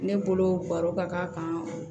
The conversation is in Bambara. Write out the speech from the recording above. Ne bolo baro ka k'a kan